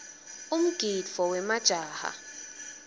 umgidvo wemajaha